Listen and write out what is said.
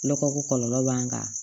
Nɔgɔ ko kɔlɔlɔ b'an kan